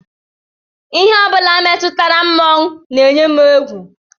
Ihe ọ bụla metụtara mmọnwụ na-eyi m egwu